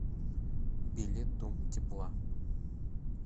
билет дом тепла